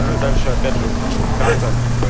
ну и дальше опять же вот эта вот карта